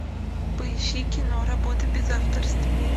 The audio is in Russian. поищи кино работа без авторства